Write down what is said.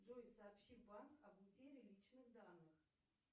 джой сообщи в банк об утере личных данных